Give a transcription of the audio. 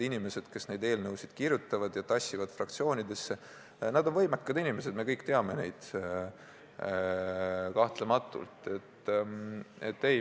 Inimesed, kes neid eelnõusid kirjutavad ja fraktsioonidesse tassivad, on võimekad inimesed, me kõik teame neid kahtlematult.